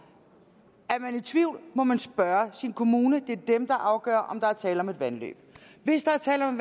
man i tvivl må man spørge sin kommune det er dem der afgør om der er tale om et vandløb hvis der er tale om